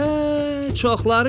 Hə, çoxları keçib.